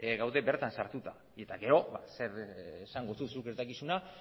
gaude bertan sartuta eta gero zer esango duzu ez dakizuna